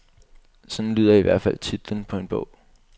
Sådan lyder i hvert fald titlen på en bog.